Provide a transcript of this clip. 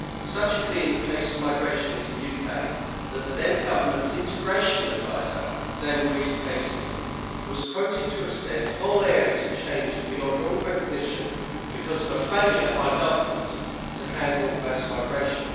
Such had been the pace of migration into the UK that the then government's integration adviser, Dame Louise Casey, was quoted to have said whole areas have changed beyond all recognition because of a failure by government to handle mass migration.